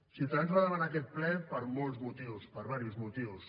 ciutadans va demanar aquest ple per molts motius per diversos motius